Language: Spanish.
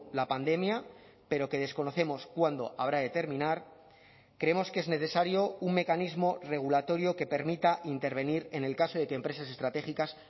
la pandemia pero que desconocemos cuándo habrá de terminar creemos que es necesario un mecanismo regulatorio que permita intervenir en el caso de que empresas estratégicas